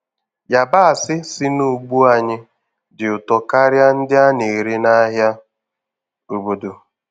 Yabasị si n'ugbo anyị dị ụtọ karịa ndị a na-ere n'ahịa obodo.